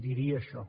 diria això